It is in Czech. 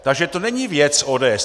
Takže to není věc ODS.